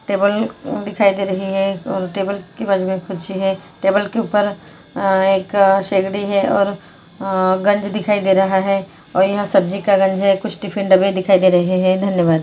Table दिखाई दे रही है टेबल की बाजू में कुर्सी है टेबल के ऊपर अ-एक सिगड़ी है और अ गंज दिखाई दे रहा है और यहाँ सब्जी का गंज है कुछ टिफिन डब्बे दिखाई दे रहे हैं धन्यवाद।